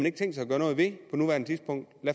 ikke tænkt sig at gøre noget ved på nuværende tidspunkt